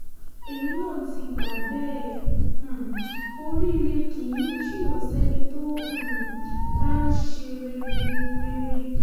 èmi náà ti gbà bẹ́ẹ̀ um oríire kì í jìnnà sẹ́ni tó um bá ń ṣe rere rere